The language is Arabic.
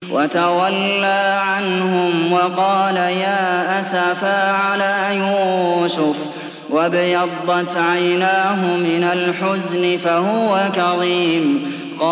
وَتَوَلَّىٰ عَنْهُمْ وَقَالَ يَا أَسَفَىٰ عَلَىٰ يُوسُفَ وَابْيَضَّتْ عَيْنَاهُ مِنَ الْحُزْنِ فَهُوَ كَظِيمٌ